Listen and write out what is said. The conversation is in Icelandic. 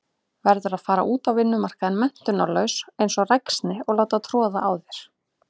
Verður að fara út á vinnumarkaðinn menntunarlaus einsog ræksni og láta troða á þér.